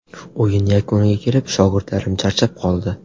O‘yin yakuniga kelib, shogirdlarim charchab qoldi.